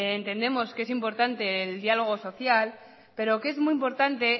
entendemos que es importante el diálogo social pero que es muy importante